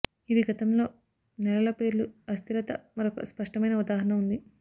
ఇది గతంలో నెలల పేర్లు అస్థిరత మరొక స్పష్టమైన ఉదాహరణ ఉంది